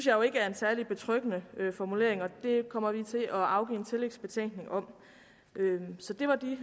jo ikke er en særlig betryggende formulering og det kommer vi til at afgive en tillægsbetænkning om så det var de